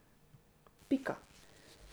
Pika.